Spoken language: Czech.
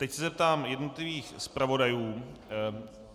Teď se zeptám jednotlivých zpravodajů.